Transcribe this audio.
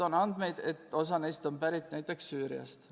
On andmeid, et osa neist on pärit näiteks Süüriast.